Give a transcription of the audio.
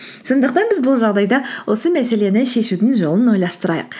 сондықтан біз бұл жағдайда осы мәселені шешудің жолын ойластырайық